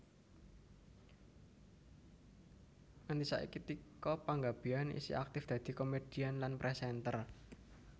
Nganti saiki Tika Panggabean isih aktif dadi komèdian lan présènter